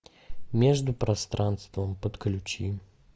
между пространством подключи